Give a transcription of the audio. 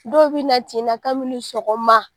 Dɔw bɛ na tinna kabini sɔgɔma.